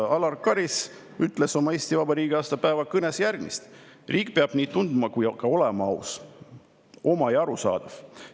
Alar Karis ütles Eesti Vabariigi aastapäeva kõnes järgmist: " riik peab nii tunduma kui ka olema aus, oma ja arusaadav.